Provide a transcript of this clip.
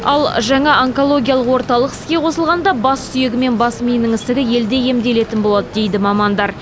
ал жаңа онкологиялық орталық іске қосылғанда бас сүйегі мен бас миының ісігі елде емделетін болады дейді мамандар